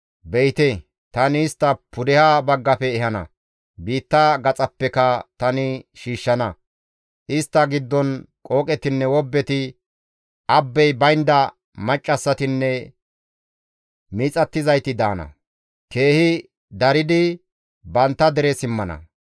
Be7ite tani istta pudeha baggafe ehana; biitta gaxappeka tani shiishshana; istta giddon qooqetinne wobbeti, abbey baynda maccassatinne miixattizayti daana; keehi daridi bantta dere simmana.